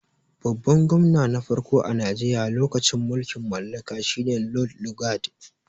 Babban gwamna na farko a Najeriya lokacin mulkin mallaka shi ne Lod lugad.